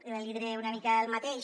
l’hi diré una mica el mateix